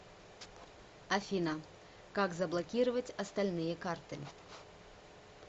афина как заблокировать остальные карты